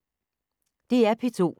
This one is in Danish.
DR P2